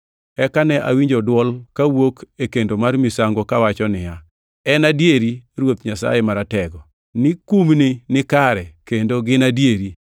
Eka ne awinjo dwol kawuok e kendo mar misango kawacho niya, “En adieri Ruoth Nyasaye Maratego ni kumni nikare kendo gin adieri.”